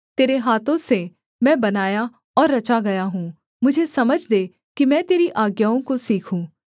तेरे हाथों से मैं बनाया और रचा गया हूँ मुझे समझ दे कि मैं तेरी आज्ञाओं को सीखूँ